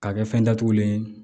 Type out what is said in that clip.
K'a kɛ fɛn datugulen ye